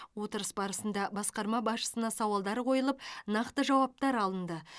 отырыс барысында басқарма басшысына сауалдар қойылып нақты жауаптар алынды